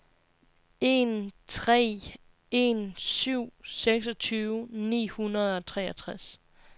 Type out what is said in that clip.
en tre en syv seksogtyve ni hundrede og treogtres